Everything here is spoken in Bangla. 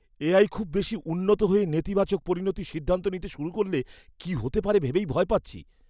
এআই খুব বেশি উন্নত হয়ে নেতিবাচক পরিণতির সিদ্ধান্ত নিতে শুরু করলে কি হতে পারে ভেবেই ভয় পাচ্ছি।